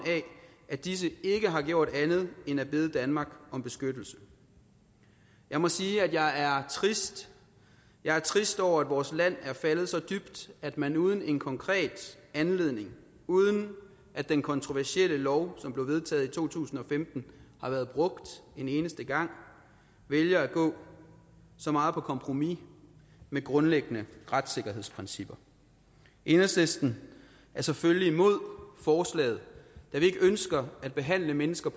af at disse ikke har gjort andet end at bede danmark om beskyttelse jeg må sige at jeg er trist jeg er trist over at vores land er faldet så dybt at man uden en konkret anledning uden at den kontroversielle lov som blev vedtaget i to tusind og femten har været brugt en eneste gang vælger at gå så meget på kompromis med grundlæggende retssikkerhedsprincipper enhedslisten er selvfølgelig imod forslaget da vi ikke ønsker at behandle mennesker